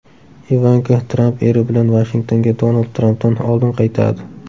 Ivanka Tramp eri bilan Vashingtonga Donald Trampdan oldin qaytadi.